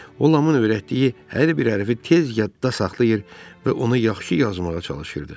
O Lamın öyrətdiyi hər bir hərfi tez yadda saxlayır və onu yaxşı yazmağa çalışırdı.